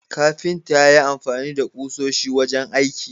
Kafinta yayi amfani da kusoshi wajen aiki